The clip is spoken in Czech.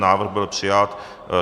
Návrh byl přijat.